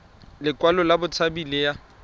lekwalo la botshabi le ya